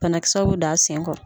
Bana kisɛw bɛ don a sen kɔrɔ.